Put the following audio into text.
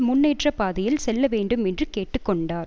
முன்னேற்ற பாதையில் செல்லவேண்டும் என்று கேட்டு கொண்டார்